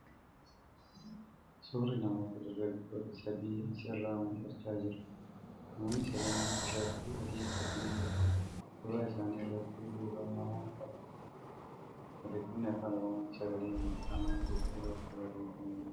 Suurri namoota dargaaggoota sadii as irraa mul'achaa jira . Namoonni sadanuu tishartii adii uffatanii jiru. Suura isaanii irratti duubaan namoonni adiin ni argamu. Barreeffamni Afaan Oromoon ' Sagalee Miidhamaa ' jedhu irratti barreeffamee jira.